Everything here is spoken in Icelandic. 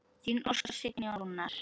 Þín Óskar, Signý og Rúnar.